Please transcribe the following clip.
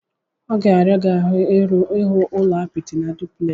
Ọ ga-ara gị ahu ihu ụlọ apịtị nke dupleksi.